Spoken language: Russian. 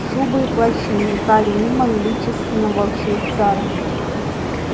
шубы и плащи мелькали мимо величественного швейцара